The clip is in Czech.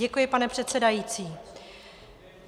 Děkuji, pane předsedající.